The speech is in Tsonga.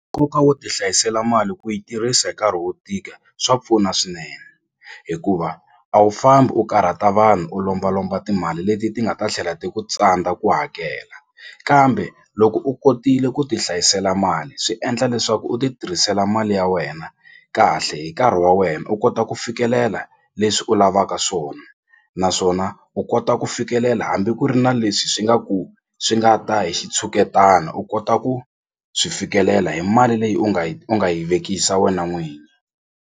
Nkoka wo ti hlayisela mali ku yi tirhisa hi nkarhi wo tika swa pfuna swinene hikuva a wu fambi u karhata vanhu u lombalomba timali leti ti nga ta tlhela ti ku tsandza ku hakela kambe loko u kotile ku ti hlayisela mali swi endla leswaku u ti tirhisela mali ya wena kahle hi nkarhi wa wena u kota ku fikelela leswi u lavaka swona naswona u kota ku fikelela hambi ku ri na leswi swi nga ku swi nga ta hi xitshuketana u kota ku swi fikelela hi mali leyi u nga yi u nga yi vekisa wena n'wini.